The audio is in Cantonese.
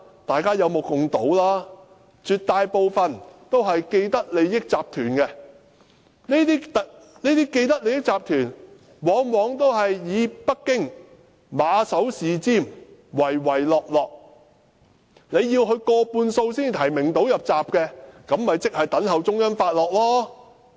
大家有目共睹，絕大部分也是既得利益集團，這些既得利益集團往往以北京馬首是瞻，唯唯諾諾，要取得過半數提名才能"入閘"，很簡單，即是要等候中央發落。